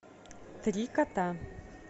три кота